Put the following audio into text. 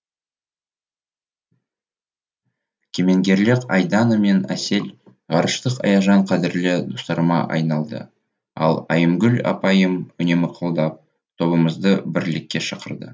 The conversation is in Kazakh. кемеңгерлік айдана мен әсел ғарыштық аяжан қадірлі достарыма айналды ал айымгүл апайым үнемі қолдап тобымызды бірлікке шақырды